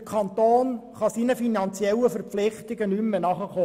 Der Kanton kann seinen finanziellen Verpflichtungen nicht mehr nachkommen.